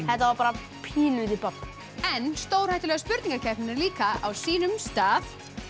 þetta var bara pínulítið babb en stórhættulega spurninga keppnin er líka á sínum stað